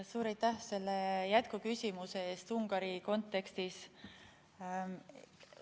Suur aitäh selle jätkuküsimuse eest Ungari kontekstis!